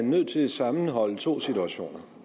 nødt til at sammenholde to situationer